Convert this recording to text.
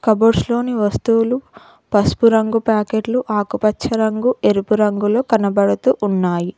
కపబోడ్స్ లోని వస్తువులు పసుపు రంగు ప్యాకెట్లు ఆకుపచ్చ రంగు ఎరుపు రంగులు కనబడుతూ ఉన్నాయి